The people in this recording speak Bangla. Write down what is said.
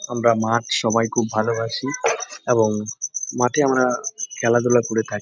আমরা মাঠ সবাই খুব ভালবাসি এবং মাঠে আমরা খেলাধুলা করে থাকি।